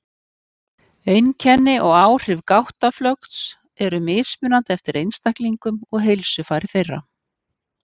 Einkenni og áhrif gáttaflökts eru mismunandi eftir einstaklingum og heilsufari þeirra.